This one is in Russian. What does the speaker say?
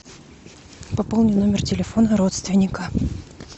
пополни номер телефона родственника